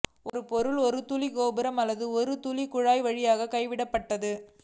ஒரு பொருள் ஒரு துளி கோபுரம் அல்லது ஒரு துளி குழாய் வழியாக கைவிடப்பட்டது